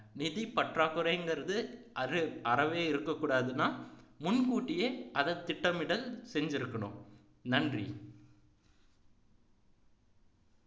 நிதி பற்றாக்குறைங்கிறது அது அறவே இருக்ககூடாதுன்னா முன்கூட்டியே அதை திட்டமிட செஞ்சிருக்கணும் நன்றி